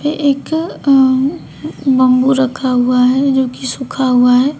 एक अ बंबू रखा हुआ है जो कि सूखा हुआ है।